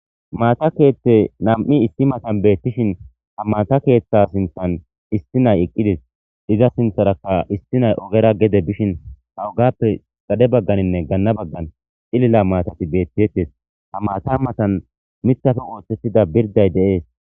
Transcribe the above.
Maata keethte nam7i issi matan beettishin ha maata keeththa sinthan isti nay eqqides iza sintharakka isti nay ogera gede bishin ha wogappe xade bagganinne ganna baggan xilila maatati beettitettes ha maata matan mithafe wooththettida birday deees.